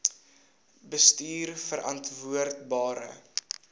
bestuurverantwoordbare